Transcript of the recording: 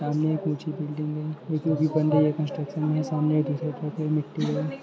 सामने एक ऊंची बिल्डिंग है जो की अभी बन रही है कंस्ट्रक्शन है सामने दूसरी तरफ मिट्टी ह।